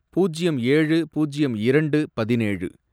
பூஜ்யம் ஏழு, பூஜ்யம் இரண்டு, பதினேழு